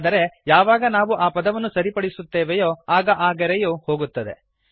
ಆದರೆ ಯಾವಾಗ ನಾವು ಆ ಪದವನ್ನು ಸರಿಪಡಿಸುತ್ತೇವೆಯೋ ಆಗ ಆ ಗೆರೆಯು ಹೋಗುತ್ತದೆ